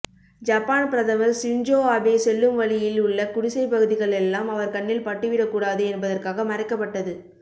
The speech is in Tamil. ஜப்பான் பிரதமர் ஷின்ஜோ அபே செல்லும் வழியில் உள்ள குடிசை பகுதிகளெல்லாம் அவர் கண்ணில் பட்டுவிடக்கூடாது என்பதற்காக மறைக்கப்பட்டது